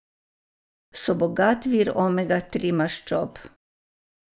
So bogat vir omega tri maščob.